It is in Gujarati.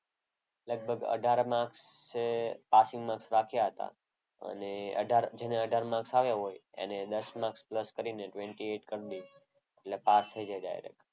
લગભગ અઢાર marks જે પાસીંગ marks રાખ્યા હતા. અને અઢાર જેને અઢાર marks આવ્યા હોય એને દસ marks પ્લસ કરીને અઠ્ઠાવીસ કરી દે એટલે પાસ થઈ જાય direct.